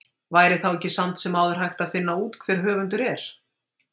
Væri þá ekki samt sem áður hægt að finna út hver höfundur er?